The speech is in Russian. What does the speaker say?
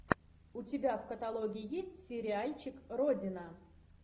у тебя в каталоге есть сериальчик родина